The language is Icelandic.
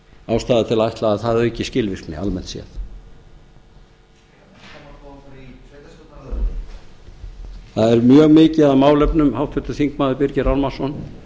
ástæða til að ætla að það auki skilvirkni almennt séð það er mjög mikið af málefnum háttvirtur þingmaður birgir ármannsson